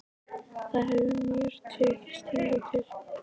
Það hefur mér tekist hingað til.